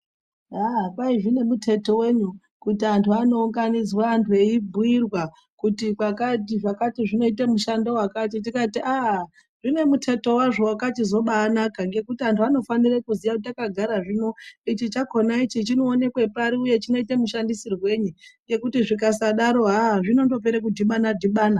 Aaaaa kwai zvinemuteto wenyi kuti antu antu anounganidzwa antu eibhuirwa kuti chakati chinoita mushando wakati, tikati aaa zvine muteto wazvo wakanaka ngekuti antu anofanira kuziya kuti takagara zvino ichi chakona ichi chinooneka pari uye chinoita mushandisirwei ngekuti zvikasadaro haaa zvinondopera kudhibana dhibana.